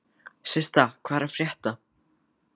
Systa, hvað er að frétta?